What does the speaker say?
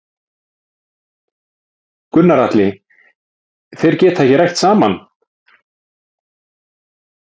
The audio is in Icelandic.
Gunnar Atli: Þeir geta ekki rætt saman?